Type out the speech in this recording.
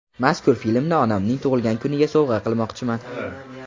Mazkur filmni onamning tug‘ilgan kuniga sovg‘a qilmoqchiman.